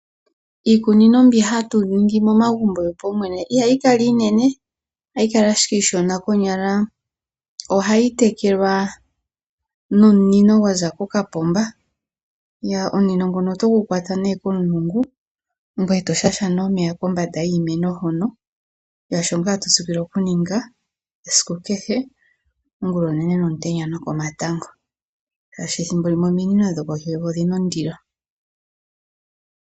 Iikunino mbi hatu ninhi momagumbo yopaumwene ihayi kala lela iinene, konyala ohayi tekelwa nomunino gwaza kokapomba. Omunino nguno ohagu kala gwaza kokapomba etagu kwatwa komulungu eto tile omeya kombanda yiimeno. Osho omuntu ha tsikile oku ninga ongulonene nokomatango oshoka ominino dho kohi yevi ohadhi kala dhina ondilo thimbo limwe.